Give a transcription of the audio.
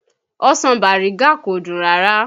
Ọsàn Bàrígá kò dùn dáadáa